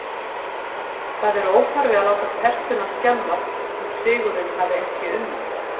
Það er óþarfi að láta tertuna skemmast þótt sigurinn hafi ekki unnist